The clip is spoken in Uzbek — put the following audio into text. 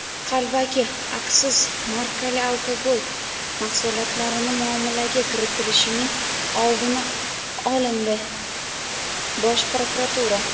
Qalbaki aksiz markali alkogol mahsulotlarini muomalaga kiritilishining oldi olindi – Bosh prokuratura.